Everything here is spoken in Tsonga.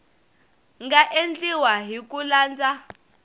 nga endliwa hi ku landza